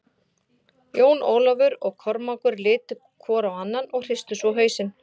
Jón Ólafur og Kormákur litu hvor á annan og hristu svo hausinn.